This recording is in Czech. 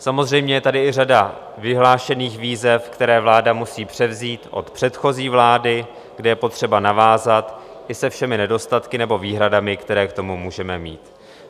Samozřejmě, je tady i řada vyhlášených výzev, které vláda musí převzít od předchozí vlády, kde je potřeba navázat i se všemi nedostatky nebo výhradami, které k tomu můžeme mít.